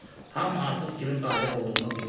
Hamı artıq kimin qalib olduğunu bilirdi.